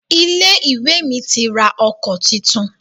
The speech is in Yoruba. Ilé-ìwé mi ti ra ọkọ̀ titun.